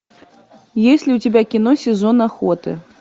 есть ли у тебя кино сезон охоты